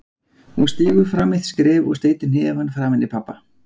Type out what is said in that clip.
Hún stígur fram eitt skref og steytir hnefann framaní pabba